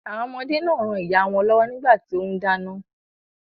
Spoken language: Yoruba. Àwọn ọmọdé náà ran ìyáà wọn lọ́wọ́ nígbà tí ó ń dáná.